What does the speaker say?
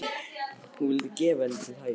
Hún vill gera henni til hæfis.